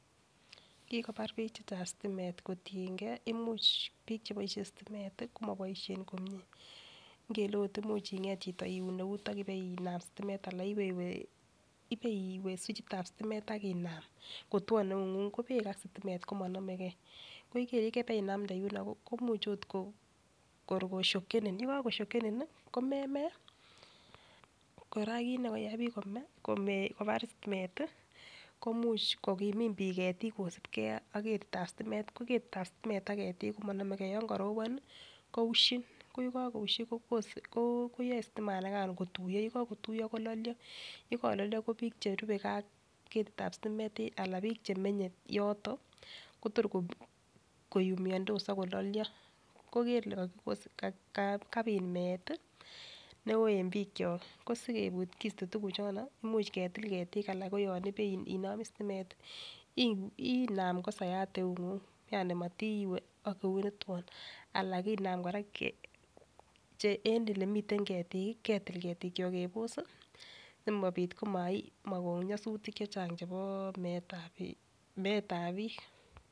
Kikobar bik chechang stimet kotiyengee imuch bik cheboishen stimet tii komoboishen komie ngele ot imuch inget chiyo iun eut akipenam situmen ana ipewee swichit tab stimet ak inam kotwon eunguny , ko beek ak stimet komonomegee ko beek yekeinamde komuch ot koshokenin yekokoshokeni nii komemee. Koraa kinekoyai bik komee kobar stimet tii ko much kokimin bik ketik kosibgee ak ketitab stimet, ko ketitab stimet ak ketik komonomegee yon koropon nii ko ushin ko yekokoushi kobose koyoe stima nikan kotuyo yekokotuyo kololio, yekololio ko bik cherubegee ak ketitab stimet anan bik chemenye yoton Kotor koyumiondos ak kololio. Kor kele kapit meet tii neo en bikyok kosikopit kosto tukuk chono koimuch ketik ketik anan ko yon inome stimet tii inam kosayat eunguny amotiwee ak eut newton. Alan kinam koraa che el elemiten ketik kii kinam kebos sii simopit koma komokon nyosutik chechang chebo meetab bik.